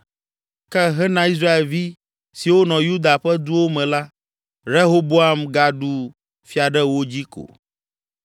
Ke hena Israelvi siwo nɔ Yuda ƒe duwo me la, Rehoboam gaɖu fia ɖe wo dzi ko.